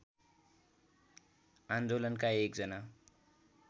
आन्दोलनका एकजना